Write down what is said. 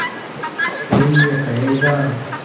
कोई ये कहेगा